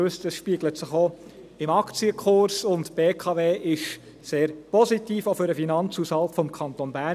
Sie wissen, das spiegelt sich auch im Aktienkurs wieder, und die BKW ist sehr positiv auch für den Finanzhaushalt des Kantons Bern.